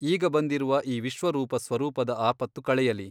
ಈಗ ಬಂದಿರುವ ಈ ವಿಶ್ವರೂಪ ಸ್ವರೂಪದ ಆಪತ್ತು ಕಳೆಯಲಿ.